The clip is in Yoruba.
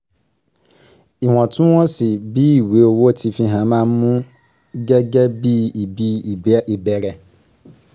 iwọntún-wọnsì bí ìwé owó tí fihàn ma mú gẹ́gẹ́ bíi ibi ìbẹ̀rẹ̀